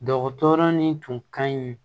Dɔgɔtɔrɔ ni tun ka ɲi